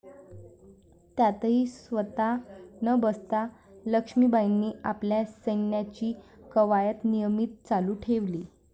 त्यातही स्वतः न बसता लक्षमीबाईंनी आपल्या सैन्याची कवायत नियमित चालू ठेवली.